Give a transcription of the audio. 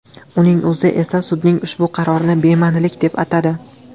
Uning o‘zi esa sudning ushbu qarorini bema’nilik deb atadi.